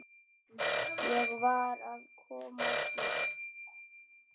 Ég varð að komast burt.